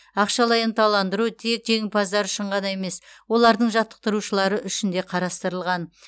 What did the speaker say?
ақшалай ынталандыру тек жеңімпаздар үшін ғана емес олардың жаттықтырушылары үшін де қарастырылған